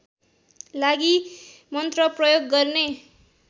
लागि मन्त्र प्रयोग गर्ने